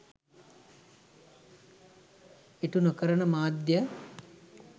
ඉටු නොකරන මාධ්‍ය